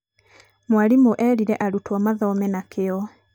mwarimũ erire arutwo mathome na kĩo.